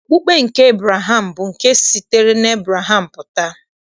Okpukpe nke Ebraham bụ nke sitere n'Ebreham pụta.